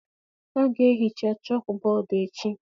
A ga-ehicha chọọkụbọọdụ echi.